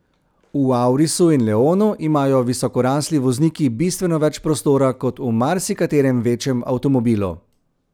V aurisu in leonu imajo visokorasli vozniki bistveno več prostora kot v marsikaterem večjem avtomobilu.